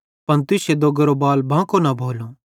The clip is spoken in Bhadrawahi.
पन तुश्शे दोग्गेरो कोई बाल बांको न भोलो